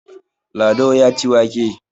Lado ya ci wake.